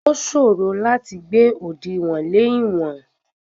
Ó ṣòro láti gbé òdìwọ̀n lè ìwọ̀n.